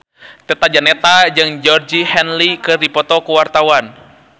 Tata Janeta jeung Georgie Henley keur dipoto ku wartawan